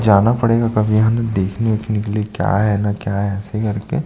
जाना पड़ेगा कभी यहाँ देखने वेखने के लिए क्या है न क्या है ऐसे कर के--